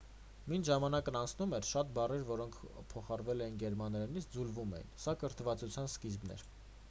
մինչ ժամանակն անցնում էր շատ բառեր որոնք փոխառվել էին գերմաներենից ձուլվում էին սա կրթվածության սկիզբն էր